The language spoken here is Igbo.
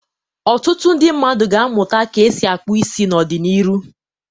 Otụtụ ndị mmadụ ga-amụta ka esi akpụ isi n'ọdị n'iru.